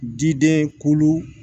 Diden kulu